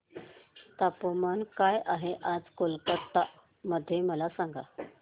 तापमान काय आहे आज कोलकाता मध्ये मला सांगा